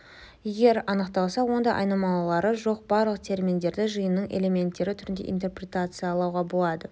егер анықталса онда айнымалылары жоқ барлық терминдерді жиынының элементтері түрінде интерпритациялауға болады